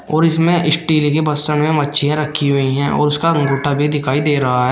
और इसमें स्टील के बसन में मच्छियां रखी हुई है और उसका अंगूठा भी दिखाई दे रहा है।